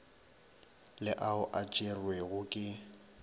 le ao a tšerwego ke